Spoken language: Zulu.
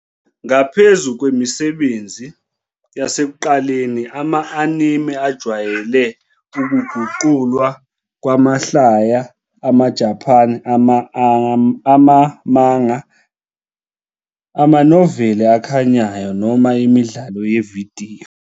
Ngaphezu kwemisebenzi yasekuqaleni, ama-anime ajwayele ukuguqulwa kwamahlaya amaJapan, ama- manga, amanoveli akhanyayo, noma imidlalo yevidiyo.